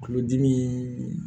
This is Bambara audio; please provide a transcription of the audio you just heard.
Kulodimi